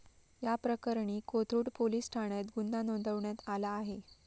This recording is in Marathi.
याप्रकरणी कोथरूड पोलीस ठाण्यात गुन्हा नोंदवण्यात आला आहे.